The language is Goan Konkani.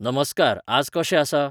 नमस्कार आज कशें आसा